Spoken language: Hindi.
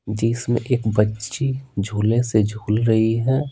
जिसमें एक बच्ची झूले से झूल रही है।